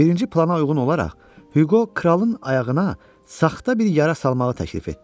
Birinci plana uyğun olaraq Hüqo kralın ayağına saxta bir yara salmağı təklif etdi.